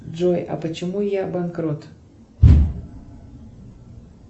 джой а почему я банкрот